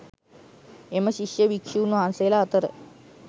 එම ශිෂ්‍ය භික්‍ෂූන් වහන්සේලා අතර